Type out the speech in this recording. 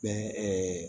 Bɛn